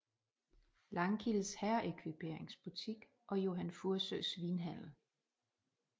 Langkildes herreekviperingsbutik og Johan Fursøes vinhandel